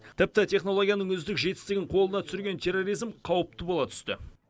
тіпті технологияның үздік жетістігін қолына түсірген терроризм қауіпті бола түсті